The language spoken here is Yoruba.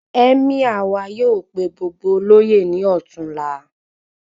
Emir wà yóò pé gbogbo oloye ní ọtunla